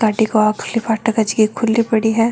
गाड़ी को आगली फाटक है जकी खुली पड़ी है।